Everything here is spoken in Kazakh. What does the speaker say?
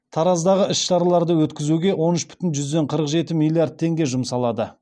тараздағы іс шараларды өткізуге он үш бүтін жүзден қырық жеті миллиард теңге жұмсалады